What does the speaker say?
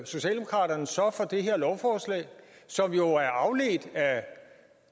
socialdemokraterne så for det her lovforslag som jo er afledt af